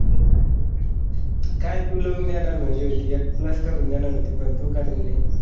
काय तू लावून देणार म्हणाली होती. एक plus करून देणार होती पण तू कारली नाही.